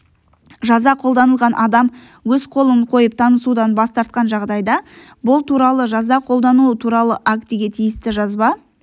жаза қолданылған адам өз қолын қойып танысудан бас тартқан жағдайда бұл туралы жаза қолдану туралы актіге тиісті жазба